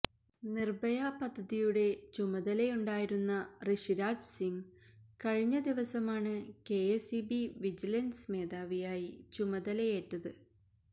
നിര്ഭയ പദ്ധതിയുടെ ചുമതലയുണ്ടായിരുന്നു ഋഷിരാജ് സിംഗ് കഴിഞ്ഞ ദിവസമാണ് കെഎസ്ഇബി വിജിലന്സ് മേധാവിയായി ചുമതലയേറ്റത്